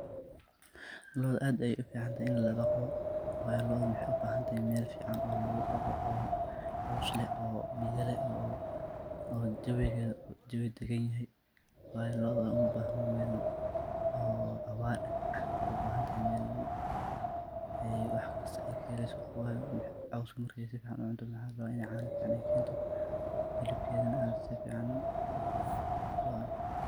Loda aad ayey u fican tahay ini ladaqdo , wayo loda waxey u bahan tahay mel fican oo lagu daqo oo coows leh oo biya leh oo jawi dagan yahay, wayo loda umabahno mel awar eh , waxey u bahantahay mel oo ay wax kasto kahelesa oo wayo caska markey si fican u cunto waxa larawaa iney cano fican ay kento , hilibkedana si fican lo cuno.